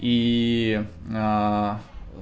и